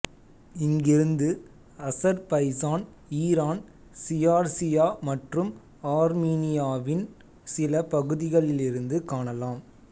இங்கிருந்து Azerbaijan Iran Georgia மற்றும் ஆர்மீனியாவின் சில பகுதிகளிலிருந்து காணலாம்